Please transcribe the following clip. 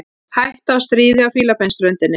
Hætta á stríði á Fílabeinsströndinni